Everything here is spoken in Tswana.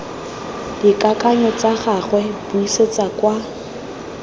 dikakanyo tsa gagwe buisetsa kwa